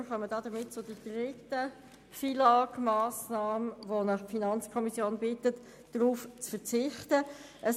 Wir kommen damit zur dritten FILAG-Massnahme, auf welche die FiKo sie zu verzichten bittet.